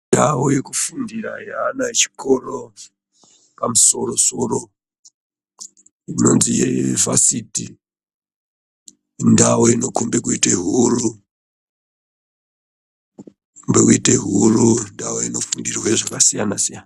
Ndao yekufundura yeana echikoro yepamusoro soro yevhasiti Indao inofane kuita huru indao inofundirwe zvakasiyana siyana.